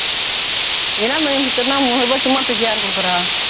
என்ன முன்னூறு ரூபா சும்மா தூக்கி யார் குடுக்குறா